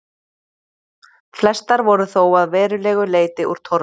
Flestar voru þó að verulegu leyti úr torfi.